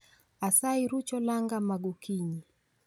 Asayi ruch olanga magokinyi